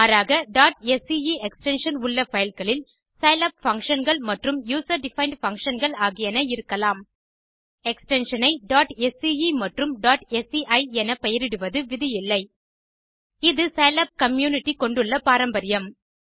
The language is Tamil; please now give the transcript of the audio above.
மாறாக sce எக்ஸ்டென்ஷன் உள்ள பைல் களில் சிலாப் பங்ஷன் மற்றும் யூசர் டிஃபைண்ட் functionகள் ஆகியன இருக்கலாம் எக்ஸ்டென்ஷன் ஐ sce மற்றும் sci எனப்பெயரிடுவது விதி இல்லை இது சிலாப் கம்யூனிட்டி கொண்டுள்ள பாரம்பரியம்